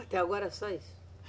Até agora só isso?